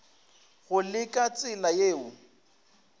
go le ka tsela yeo